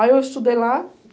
Aí eu estudei lá.